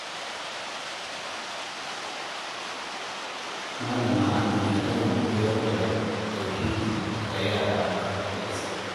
Malama Amina tana koyar da tauhidi ga yara a makarantar Islamiyya.